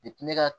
Depi ne ka